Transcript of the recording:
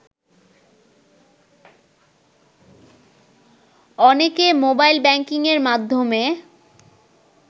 অনেকে মোবাইল ব্যাংকিংয়ের মাধ্যমে